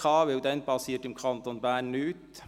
Zu dieser Zeit geschieht nämlich im Kanton Bern nichts.